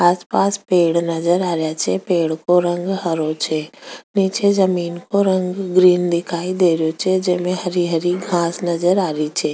आसपास पेड़ नजर आ रिया छे पेड़ को रंग हरो छे नीचे जमीन को रंग ग्रीन दिखाई दे रहियो छे जिमे हरी हरी घास नजर आ रही छे।